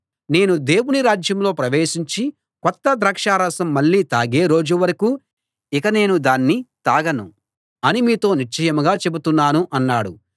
నేను దేవుని రాజ్యంలో ప్రవేశించి కొత్త ద్రాక్షారసం మళ్ళీ తాగే రోజు వరకూ ఇక నేను దాన్ని తాగను అని మీతో నిశ్చయంగా చెబుతున్నాను అన్నాడు